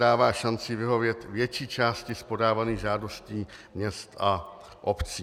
Dává šanci vyhovět větší části z podávaných žádostí měst a obcí.